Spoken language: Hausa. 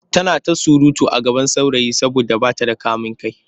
Tana ta surutu a gaban saurayi saboda ba ta da kamin kai.